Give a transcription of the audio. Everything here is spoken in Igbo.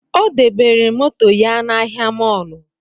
Ọ debere moto ya n'ahịa mọlụ